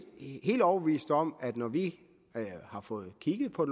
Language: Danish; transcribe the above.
helt overbevist om at når vi har fået kigget på